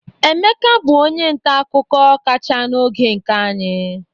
Emeka bụ onye nta akụkọ kacha n'oge nke anyị.